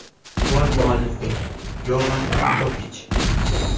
Gol muallifi Yovan Jokich.